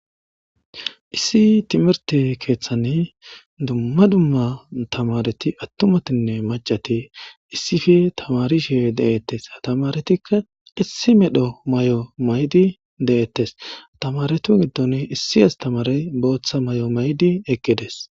Issi timirte keeththani dumma dumma tamareti attumatinne macati issife tamarishee de'ettes tamaretikka issi medho may'o maydi de'ettes tamaretu giddon issi astamarey booththa may'o may'di eqqides.